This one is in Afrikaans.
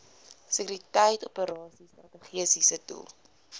sekuriteitsoperasies strategiese doel